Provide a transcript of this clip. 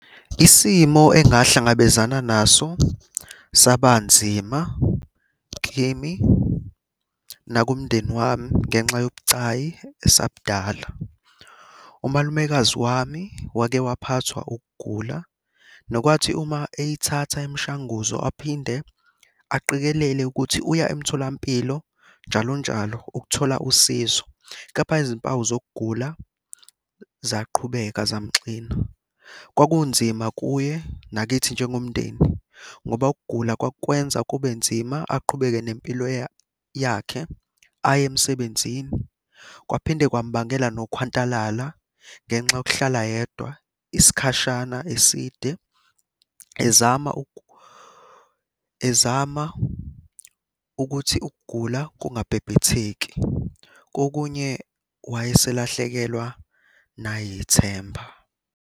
Isimo angahlangabezana naso saba nzima kimi nakumndeni wami ngenxa yobucayi esabudala. Umalumekazi wami wake waphathwa ukugula, nokwathi uma eyithatha imishanguzo aphinde aqikelele ukuthi uya emtholampilo njalonjalo ukuthola usizo, kepha izimpawu zokugula zaqhubeka zamuxina. Kwakunzima kuye nakithi njengomndeni ngoba ukugula kwakukwenza kube nzima aqhubeke nempilo yakhe, aye emsebenzini. Kwaphinde kwamubangela nokhwantalala ngenxa yokuhlala yedwa isikhashana eside, ezama , ezama ukuthi ukugula kungabhebhetheki. Kokunye wayeselahlekelwa nayithemba.